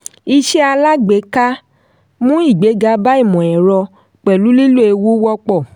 iṣẹ́ alágbèéká mú ìgbéga bá ìmọ̀-ẹ̀rọ pẹ̀lú lílò ewu wọ́pọ̀.